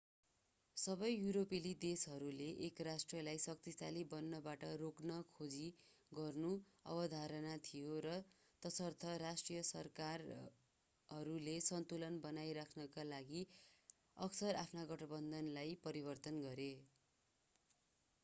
सबै युरोपेली देशहरूले एक राष्ट्रलाई शक्तिशाली बन्नबाट रोक्न खोजी गर्नु अवधारणा थियो र तसर्थ राष्ट्रिय सरकारहरूले सन्तुलन बनाइ राख्नका लागि अक्सर आफ्ना गठबन्धनलाई परिवर्तन गरे